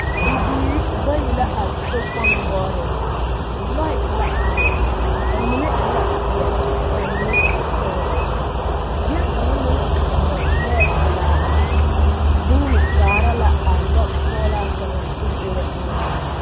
Bibiiri bayi la are sokpoŋ noɔreŋ lɔɛ la are a mine e la peɛlle ka a mine e sɔglaa bie kaŋa naŋ su mɔsulɛɛ pelaa vuune kaara la a lɔsɔglaa kaŋa tokoro eŋɛ.